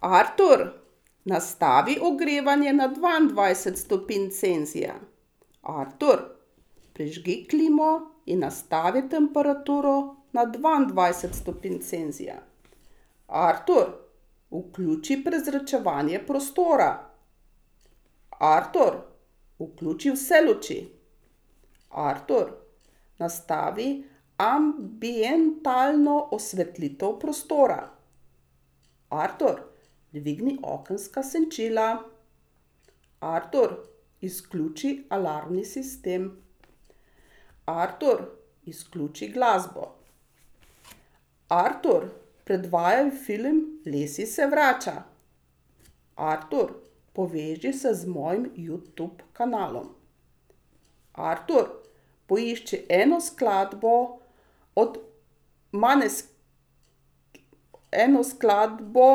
Artur, nastavi ogrevanje na dvaindvajset stopinj Celzija. Artur, prižgi klimo in nastavi temperaturo na dvaindvajset stopinj Celzija. Artur, vključi prezračevanje prostora. Artur, vključi vse luči. Artur, nastavi ambientalno osvetlitev prostora. Artur, dvigni okenska senčila. Artur, izključi alarmni sistem. Artur, izključi glasbo. Artur, predvajaj film Lassie se vrača. Artur, poveži se z mojim Youtube kanalom. Artur, poišči eno skladbo od eno skladbo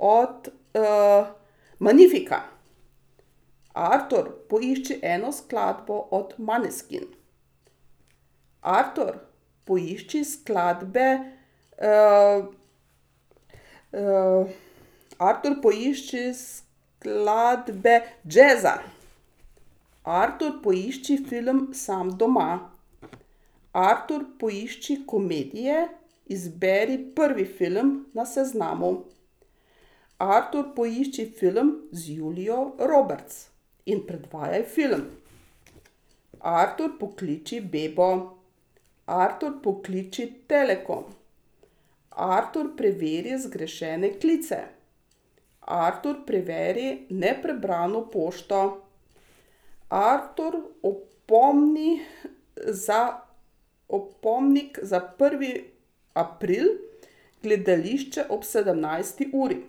od, Magnifica. Artur, poišči eno skladbo od Måneskin. Artur, poišči skladbe, ... Artur, poišči skladbe jazza. Artur, poišči film Sam doma. Artur, poišči komedije, izberi prvi film na seznamu. Artur, poišči film z Julio Roberts in predvajaj film. Artur, pokliči Bebo. Artur, pokliči Telekom. Artur, preveri zgrešene klice. Artur, preveri neprebrano pošto. Artur, opomni, za opomnik za prvi april gledališče ob sedemnajsti uri.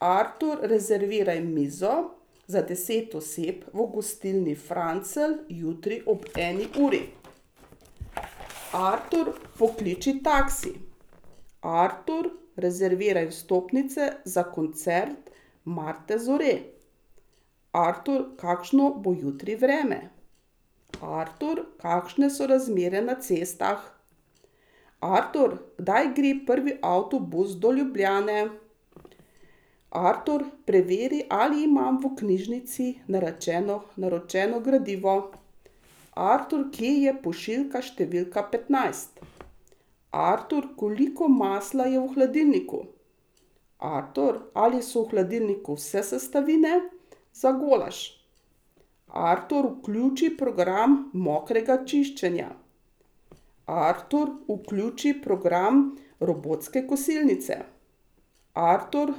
Artur, rezerviraj mizo za deset oseb v gostilni Francelj jutri on eni uri. Artur, pokliči taksi. Artur, rezerviraj vstopnice za koncert Marte Zore. Artur, kakšno bo jutri vreme? Artur, kakšne so razmere na cestah? Artur, kdaj gre prvi avtobus do Ljubljane? Artur, preveri, ali imam v knjižnici narečeno, naročeno gradivo. Artur, kje je pošiljka številka petnajst? Artur, koliko masla je v hladilniku? Artur, ali so v hladilniku vse sestavine za golaž? Artur, vključi program mokrega čiščenja. Artur, vključi program robotske kosilnice. Artur,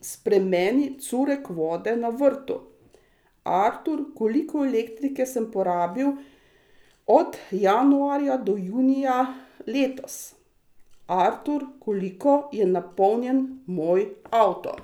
spremeni curek vode na vrtu. Artur, koliko elektrike sem porabil od januarja do junija letos? Artur, koliko je napolnjen moj avto?